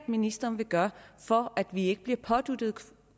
ministeren vil gøre for at vi ikke bliver påduttet